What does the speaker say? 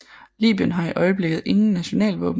Libyen har i øjeblikket ingen a nationalvåben